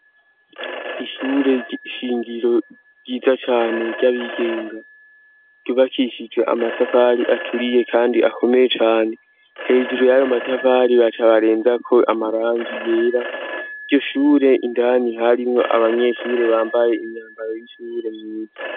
Ishure shingiro ryiza cane ry'abigenga, rubakishijwe amatafari aturiye kandi akomeye cane, hejuru y'ayo matafari baca barenzako amarangi yera, iryo shure indani harimwo abanyeshure bambaye imyambaro y'ishure myiza.